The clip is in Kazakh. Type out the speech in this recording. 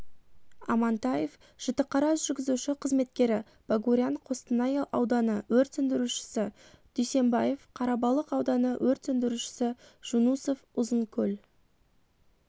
амантаев жітіқара жүргізуші-қызметкері богурян қостанай ауданы өрт сөндірушісі дуйсенбаев қарабалық ауданы өрт сөндірушісі жунусов ұзынкөл